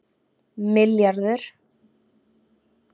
milljarður